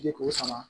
Ji ko sama